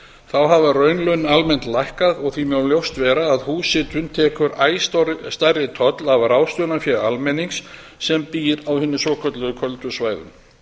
þá hafa raunlaun almennt lækkað og því má ljóst vera að húshitunin tekur æ stærri toll af ráðstöfunarfé almennings sem býr á hinum svokölluðu köldu svæðum